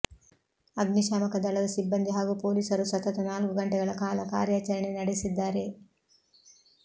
ಅಗ್ನಿಶಾಮಕ ದಳದ ಸಿಬ್ಬಂದಿ ಹಾಗೂ ಪೊಲೀಸರು ಸತತ ನಾಲ್ಕು ಗಂಟೆಗಳ ಕಾಲ ಕಾರ್ಯಾಚರಣೆ ನಡೆಸಿದ್ದಾರೆ